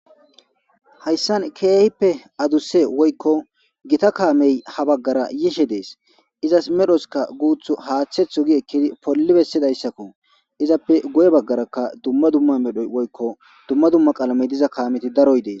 Hayssan keehippe adusse woykko gita kaamey ha baggara yishe dees ,izas medhozikka guuthu haatheththo giidi ekkidi polli bessidaysako izappe guye baggaraka dumma dumma medho woykko dumma dumma qalamey diza kaameti daroy dees.